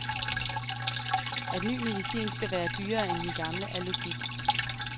At ny medicin skal være dyrere end den gamle, er logik.